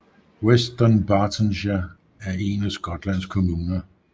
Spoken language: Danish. West Dunbartonshire er en af Skotlands kommuner